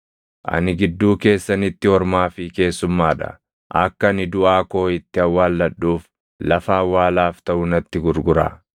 “Ani gidduu keessanitti ormaa fi keessummaa dha. Akka ani duʼaa koo itti awwaalladhuuf lafa awwaalaaf taʼu natti gurguraa.”